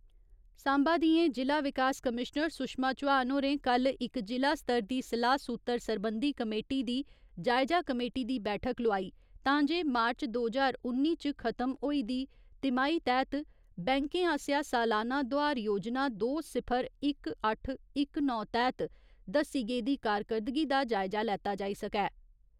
सांबा दियें जि'ला विकास कमीश्नर सुशमा चौहान होरें कल्ल इक जि'ला स्तर दी सलाह् सूत्तर सरबंधी कमेटी दी जायजा कमेटी दी बैठक लोआई तां जे मार्च दो ज्हार उन्नी इच खत्म होई दी तिमाही तैह्त बैंकें आसेआ सालाना दोआर योजना दो सिफर इक अट्ठ इक नौ तैह्त दस्सी गेदी कारकरदगी दा जायजा लैता जाई सकै।